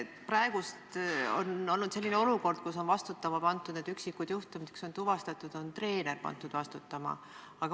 Praegu on olnud selline olukord, et nende üksikute juhtumite puhul, kus tarvitamine on tuvastatud, on treener pandud vastutama.